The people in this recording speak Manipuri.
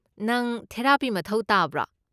ꯅꯪ ꯊꯦꯔꯥꯄꯤ ꯃꯊꯧ ꯇꯥꯕ꯭ꯔꯣ?